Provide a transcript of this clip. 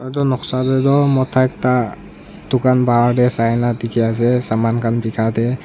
etu noksa dae tuh mota ekta dukhan bahar dae sai na dekhe ase saman khan behka dae.